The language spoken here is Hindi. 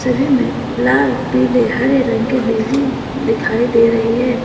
कमरे मे लाल पीले हरे रंग के बिल्डिंग दिखाई दे रही है।